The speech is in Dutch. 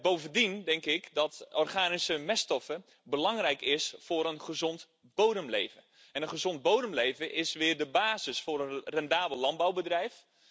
Bovendien denk ik dat organische meststoffen belangrijk zijn voor een gezond bodemleven, en een gezond bodemleven is weer de basis voor een rendabel landbouwbedrijf.